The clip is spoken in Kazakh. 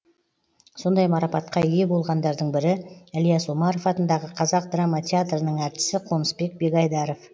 сондай мараптқа ие болғандардың бірі ілияс омаров атындағы қазақ драма театрының әртісі қонысбек бегайдаров